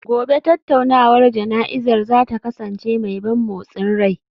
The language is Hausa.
Gobe ​​tattaunawar jana'izar za ta kasance mai ban motsin rai